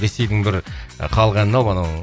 ресейдің бір і халық әнін алып анау